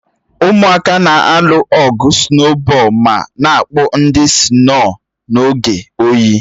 Ụmụaka na-alụ ọgụ sụnobọol ma na-akpụ ndị sino n'oge oyi